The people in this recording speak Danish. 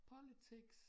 Politics